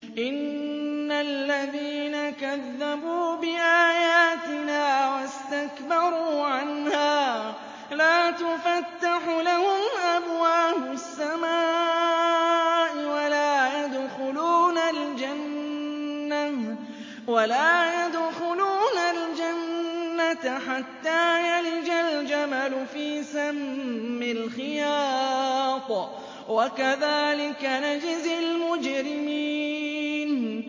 إِنَّ الَّذِينَ كَذَّبُوا بِآيَاتِنَا وَاسْتَكْبَرُوا عَنْهَا لَا تُفَتَّحُ لَهُمْ أَبْوَابُ السَّمَاءِ وَلَا يَدْخُلُونَ الْجَنَّةَ حَتَّىٰ يَلِجَ الْجَمَلُ فِي سَمِّ الْخِيَاطِ ۚ وَكَذَٰلِكَ نَجْزِي الْمُجْرِمِينَ